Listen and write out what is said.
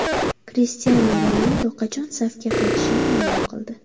Krishtianu Ronaldu qachon safga qaytishini ma’lum qildi.